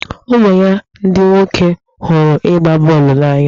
ụmụ ya ndị nwoke hụrụ ịgba bọọlụ n'anya.